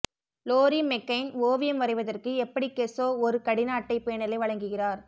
lorry McCain ஓவியம் வரைவதற்கு எப்படி கெஸ்ஸோ ஒரு கடின அட்டைப் பேனலை வழங்குகிறார்